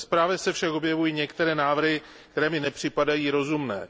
Ve zprávě se však objevují některé návrhy, které mi nepřipadají rozumné.